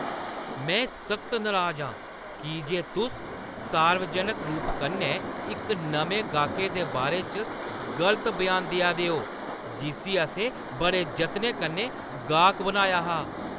में सख्त नराज आं की जे तुस सार्वजनक रूप कन्नै इक नमें गाह्कै दे बारे च गलत ब्यान देआ दे ओ जिस्सी असें बड़े जतनें कन्नै गाह्‌क बनाया हा।